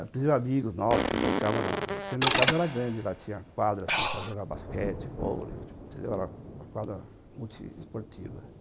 Apesar dos amigos nossos que brincavam, porque a minha casa era grande, lá tinha uma quadra para jogar basquete, vôlei, era uma quadra multiesportiva.